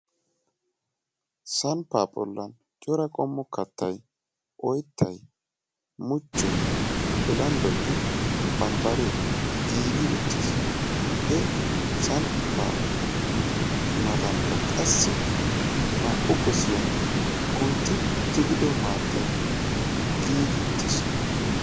Samppa bollan cora qommo kattay oyttay, muchchoy, bilanddoynne bambbare giigi uttiis. He samppa matankka qassi naa"u gossiya kuntti tigido maattay giigi uttiis.